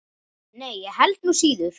Nei, ég held nú síður.